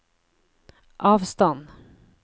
avstand